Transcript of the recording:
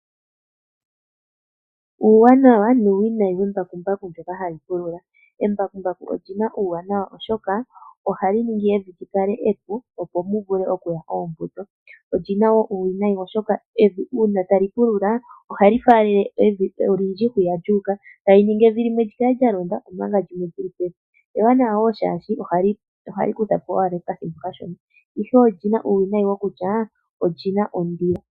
Uuwanawa nuuwinayi wembakumbaku ndyoka hali pulula. Oli na uuwanawa oshoka ohali ningi evi opo li kale epu opo mu vule okuya oombuto. Oli na wo uuwinayi oshoka uuna tali pulula ohali faalele evi olindji, ta li vulu okuninga evi limwe lya londa limwe oli li pevi, ihe olina uuwinayi wokutya oli na ondilo.